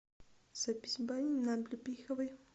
запись бани на облепиховой